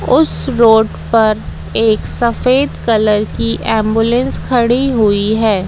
उस रोड पर एक सफेद कलर की एंबुलेंस खड़ी हुई है।